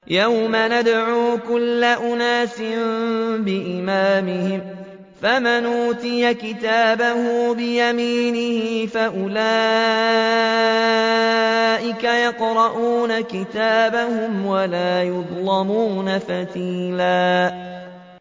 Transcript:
يَوْمَ نَدْعُو كُلَّ أُنَاسٍ بِإِمَامِهِمْ ۖ فَمَنْ أُوتِيَ كِتَابَهُ بِيَمِينِهِ فَأُولَٰئِكَ يَقْرَءُونَ كِتَابَهُمْ وَلَا يُظْلَمُونَ فَتِيلًا